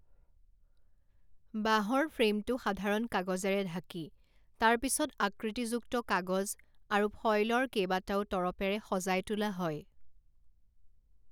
বাঁহৰ ফ্ৰেমটো সাধাৰণ কাগজেৰে ঢাকি তাৰ পিছত আকৃতিযুক্ত কাগজ আৰু ফয়লৰ কেইবাটাও তৰপেৰে সজাই তোলা হয়।